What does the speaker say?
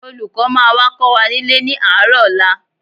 Olùkọ́ máa wá kọ́ wa nílé ní àárọ̀ ọ̀la